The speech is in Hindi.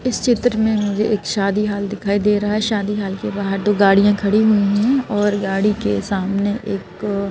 इस चित्र में मुझे एक शादी हाल दिखाई दे रहा है शादी हाल के बाहर दो गाड़ियां खड़ी हुई हैं और गाड़ी के सामने एक अ --